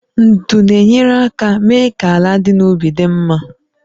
Ndu na-enyere aka mee ka ala dị n'ubi dị mma